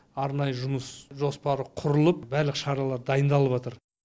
арнайы жұмыс жоспары құрылып барлық шаралар дайындалыватыр